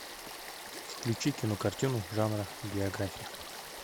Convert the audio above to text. включи кинокартину жанра биография